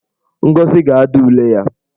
Ngozi ga-ada ule ya.